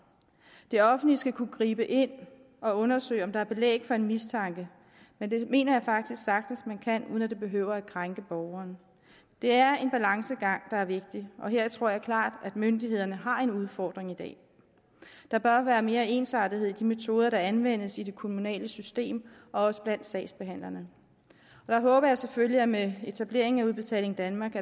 det offentlige skal kunne gribe ind og undersøge om der er belæg for en mistanke men det mener jeg faktisk sagtens man kan uden at det behøver at krænke borgeren det er en balancegang der er vigtig og her tror jeg klart at myndighederne har en udfordring i dag der bør være mere ensartethed i de metoder der anvendes i det kommunale system og også blandt sagsbehandlerne og jeg håber selvfølgelig at der med etablering af udbetaling danmark